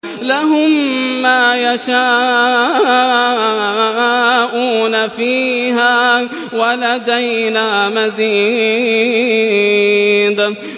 لَهُم مَّا يَشَاءُونَ فِيهَا وَلَدَيْنَا مَزِيدٌ